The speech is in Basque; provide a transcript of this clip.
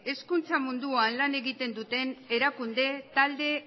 hezkuntza munduan lan egiten duten erakunde talde